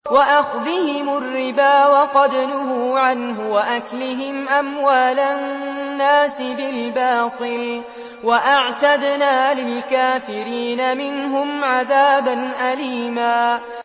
وَأَخْذِهِمُ الرِّبَا وَقَدْ نُهُوا عَنْهُ وَأَكْلِهِمْ أَمْوَالَ النَّاسِ بِالْبَاطِلِ ۚ وَأَعْتَدْنَا لِلْكَافِرِينَ مِنْهُمْ عَذَابًا أَلِيمًا